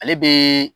Ale bɛ